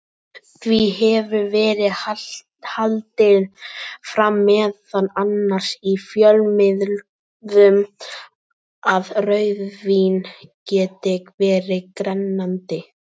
Því hefur verið haldið fram, meðal annars í fjölmiðlum, að rauðvín geti verið grennandi.